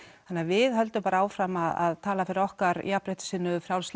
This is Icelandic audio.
þannig við höldum bara áfram að tala fyrir okkar jafnréttissinnuðu frjálslyndu